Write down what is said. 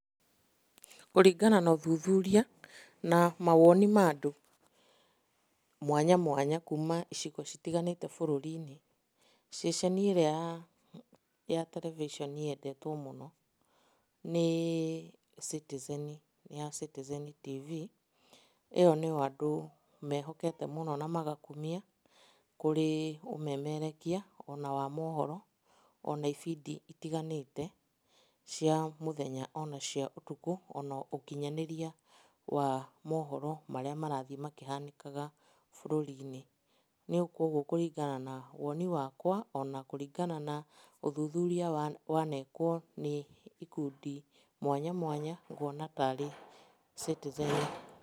Kũringana na ũthuthuria na mawoni ma andũ mwanya mwanya kuma icigo citiganĩte bũrũri-inĩ, ceceni ĩrĩa ya terebiceni yendetwo mũno nĩ Citizen, ya Citizen TV, ĩyo nĩyo andũ mehokete mũno na magakumia, kũrĩ ũmemerekia ona wa mohoro, ona ibindi itiganĩte cia mũthenya ona cia ũtukũ, ona ũkinyanĩria wa mohoro marĩa marathiĩ makĩhananĩkaga bũrũri-inĩ. Rĩu koguo kũringana na woni wakwa, ona kũringana na ũthuthuria wanekwo nĩ ikundi mwanya mwanya nguona ta rĩ Citizen.